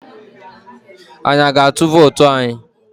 Anyi a ga-atụ vootu anyi?